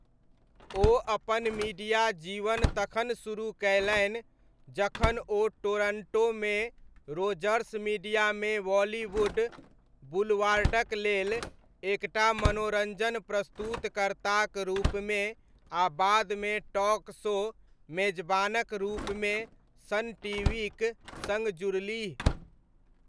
ओ अपन मीडिया जीवन तखन शुरू कयलनि जखन ओ टोरण्टोमे रोजर्स मीडियामे बॉलीवुड बुलवार्डक लेल एक टा मनोरञ्जन प्रस्तुतकर्ताक रूपमे आ बादमे टॉक शो मेजबानक रूपमे सन टीवीक सङ्ग जुड़लीह।